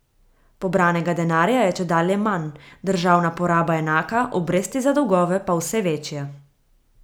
Pobranega denarja je čedalje manj, državna poraba enaka, obresti za dolgove pa vse večje.